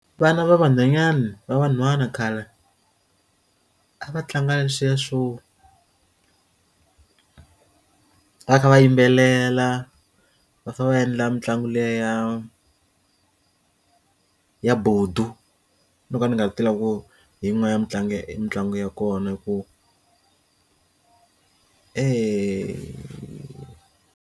Vana va vanhwanyani va vanhwanyana khale a va tlanga na leswiya swo va kha va yimbelela va fa va endla mitlangu liya ya ya bodu no ka ni nga ta lava ku yin'wana ya mitlangu ya i mitlangu ya kona hi ku eya.